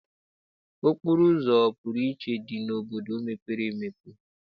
Okporoụzọ ọpụrụiche dị n'obodo mepere emepe.